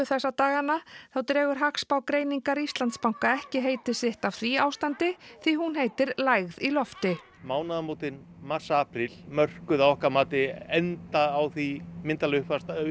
þessa dagana þá dregur hagspá greiningar Íslandsbanka ekki heiti sitt af því ástandi því hún heitir lægð í lofti mánaðamótin mars apríl mörkuðu að okkar mati enda á því myndarlega